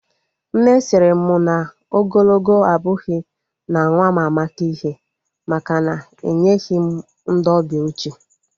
Nne sịrị m na ogologo abụghị na nwa m amaka ihe, maka na enyeghị m ndị ọbịa oche